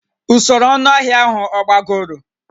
Usoro ọnụahịa ahụ agbagoro?